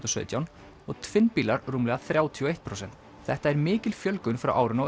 sautján og tvinnbílar rúmlega þrjátíu og eitt prósent þetta er mikil fjölgun frá árinu